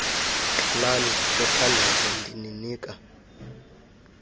qalani nithandaze ndininika